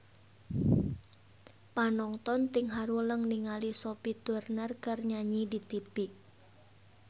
Panonton ting haruleng ningali Sophie Turner keur nyanyi di tipi